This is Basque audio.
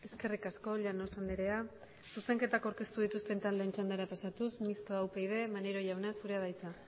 eskerrik asko llanos andrea zuzenketak aurkeztu dituzten taldeen txandara pasatuz mistoa upyd maneiro jauna zurea da hitza